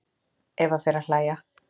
Eva fer að hlæja.